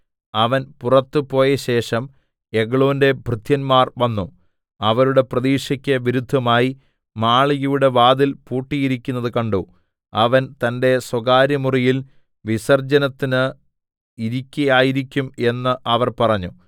അവൻ പുറത്തു പോയശേഷം എഗ്ലോന്റെ ഭൃത്യന്മാർ വന്നു അവരുടെ പ്രതീക്ഷക്ക് വിരുദ്ധമായി മാളികയുടെ വാതിൽ പൂട്ടിയിരിക്കുന്നത് കണ്ടു അവൻ തന്റെ സ്വകാര്യമുറിയിൽ വിസർജ്ജനത്തിന് ഇരിക്കയായിരിക്കും എന്ന് അവർ പറഞ്ഞു